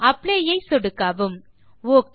apply ஐ சொடுக்கவும் okay